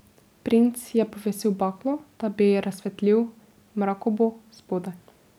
Princ je povesil baklo, da bi razsvetlil mrakobo spodaj.